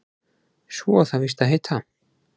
Svo á það víst að heita